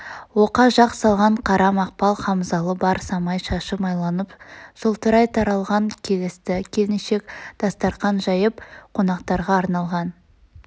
оқа жақ салған қара мақпал хамзалы бар самай шашы майланып жылтырай таралған келісті келіншек дастарқан жайып қонақтарға арналған